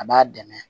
A b'a dɛmɛ